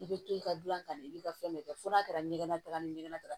I bɛ to i ka dunan kan i bɛ ka fɛn bɛɛ kɛ fo n'a kɛra ɲɛgɛntaga ni ɲɛgɛn